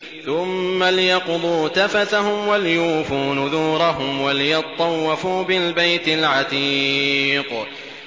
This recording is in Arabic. ثُمَّ لْيَقْضُوا تَفَثَهُمْ وَلْيُوفُوا نُذُورَهُمْ وَلْيَطَّوَّفُوا بِالْبَيْتِ الْعَتِيقِ